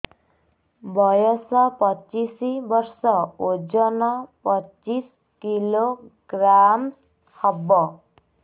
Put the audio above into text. ବୟସ ପଚିଶ ବର୍ଷ ଓଜନ ପଚିଶ କିଲୋଗ୍ରାମସ ହବ